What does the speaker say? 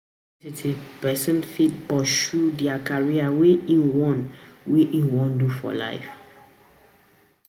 Na for university person fit pursue di career wey im wan wey im wan do for life